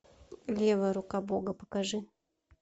левая рука бога покажи